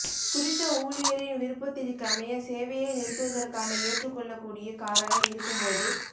குறித்த ஊழியரின் விருப்பத்திற்கமைய சேவையை நிறுத்துவதற்கான ஏற்றுக்கொள்ளக் கூடிய காரணம் இருக்கும் போது